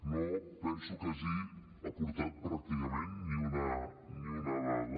no penso que hagi aportat pràcticament ni una dada